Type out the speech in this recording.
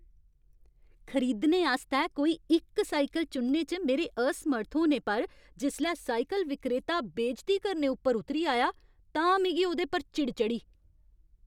खरीदने आस्तै कोई इक साइकल चुनने च मेरे असमर्थ होने पर जिसलै साइकल विक्रेता बेजती करने उप्पर उतरी आया तां मिगी ओह्दे उप्पर चिड़ चढ़ी।